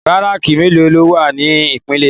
Bàráki méló ló wá ni Ipinlè Ékó?